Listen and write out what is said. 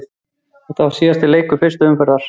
Þetta var síðasti leikur fyrstu umferðar deildarinnar.